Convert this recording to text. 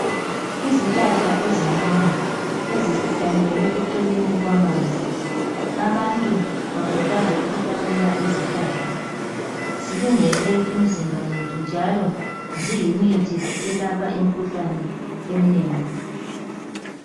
Izihlahla ezincane ezihlanyelwe eceleni kwamanzi. Abantu bakhuthazwa ukuhlanyela izihlahla zilungele imizimba yethu njalo ziyimithi eyelapha imkhuhlane eminengi.